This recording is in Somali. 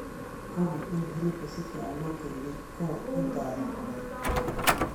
Hubi in hilibka si fiican loo kariyey ka hor intaadan cunin.